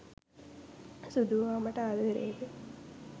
සුදු ඔයා මට ආදරේද